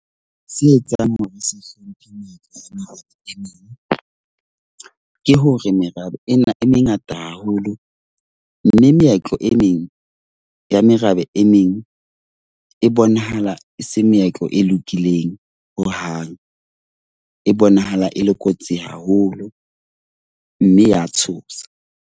Se etsang hore se hlomphe metsofe? Merabe e meng ke hore merabe ena e mengata haholo. Mme meetlo e meng ya merabe e meng e bonahala e se meetlo e lokileng hohang. E bonahala e le kotsi haholo, mme ya tshosa.